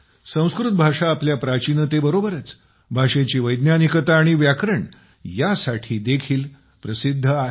संस्कृत भाषा आपल्या प्राचीनतेबरोबरच भाषेची वैज्ञानिकता आणि व्याकरण ह्या साठी देखील प्रसिद्ध आहे